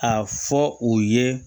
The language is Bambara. A fɔ u ye